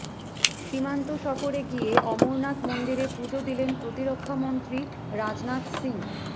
সীমান্ত সফরে গিয়ে অমরনাথ মন্দিরে পুজো দিলেন প্রতিরক্ষামন্ত্রী রাজনাথ সিং